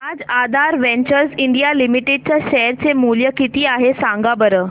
आज Aadhaar ventures India limited चे share चे मूल्य किती आहे सांगा बरं